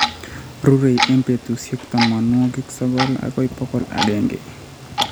rurei eng' putusyek tamanwogik sogol agoi pokol agenge.